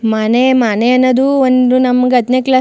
ಮನೆ ಮನೆ ಅನ್ನೋದು ಒಂದು ನಮಗೆ ಹತ್ತನೇ ಕ್ಲಾಸ್ --